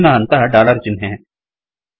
ಮುಂದಿನ ಹಂತ ಡಾಲರ್ ಚಿಹ್ನೆ